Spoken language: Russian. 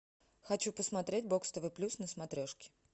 хочу посмотреть бокс тв плюс на смотрешке